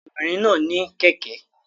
Ọmọbìnrin náà ní kẹ̀kẹ́